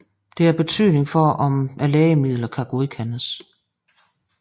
Det har betydning for om lægemidler kan godkendes